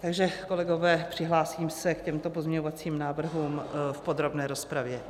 Takže kolegové, přihlásím se k těmto pozměňovacím návrhům v podrobné rozpravě.